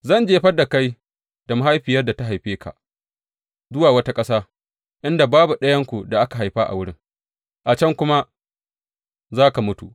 Zan jefar da kai da mahaifiyar da ta haife ka zuwa wata ƙasa, inda babu ɗayanku da aka haifa a wurin, a can kuma za ka mutu.